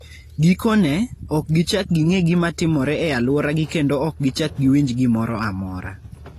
Gikone, ok gichak ging'e gima timore e alworagi kendo ok gichak giwinj gimoro amora.